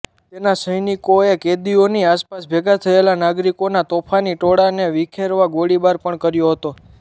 તેના સૈનિકોએ કેદીઓની આસપાસ ભેગા થયેલા નાગરિકોના તોફાની ટોળાને વિખેરવા ગોળીબાર પણ કર્યો હતો